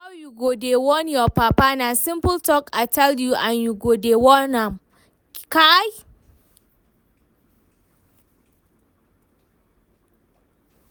How you go dey warn your papa? na simple talk I tell you and you go dey warn am, kai!